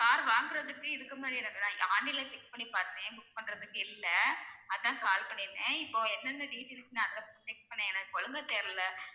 car வாங்குவதற்கு இதுக்கு முன்னாடி எனக்கு நான் online ல check பண்ணி பார்த்தேன் book பண்றதுக்கு இல்ல அதான் call பண்ணிருந்தேன் இப்போ என்னென்ன details நான் address check பண்ண எனக்கு ஒழுங்கா தெரியல